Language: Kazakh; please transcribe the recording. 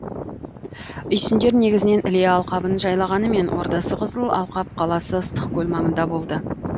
үйсіндер негізінен іле алқабын жайлағанымен ордасы қызыл алқап қаласы ыстықкөл маңында болды